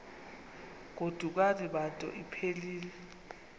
godukani bantu iphelil